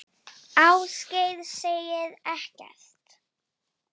Ásgeir segir ekkert.